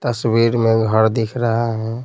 तस्वीर में घर दिख रहा है।